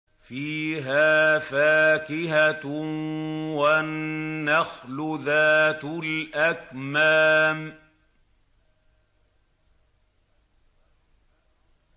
فِيهَا فَاكِهَةٌ وَالنَّخْلُ ذَاتُ الْأَكْمَامِ